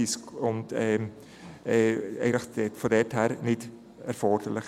Von daher ist der Vorbehalt nicht erforderlich.